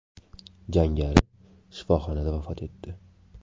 Jangari shifoxonada vafot etdi.